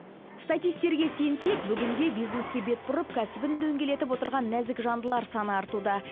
статисттерге сенсек бүгінде бизнеске бет бұрып кәсібін дөңгелетіп отырған нәзік жандылар саны артуда